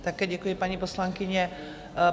Také děkuji, paní poslankyně.